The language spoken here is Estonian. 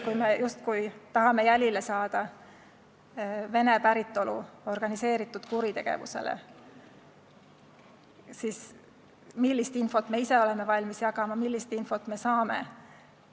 Kui me tahame jälile saada Vene päritolu organiseeritud kuritegevusele, siis millist infot me ise oleme valmis jagama ning millist infot me vastu saame?